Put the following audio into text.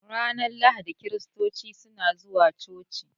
Ranar lahadi kiristoci suna zuwa coci.